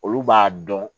Olu b'a dɔn